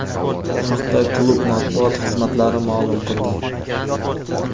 Bu haqda klub matbuot xizmatlari ma’lum qildi.